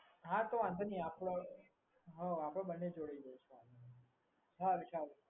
હા તો વાંધો નહીં હા આપડે બંને જોડે જઈશું હા વિશાલ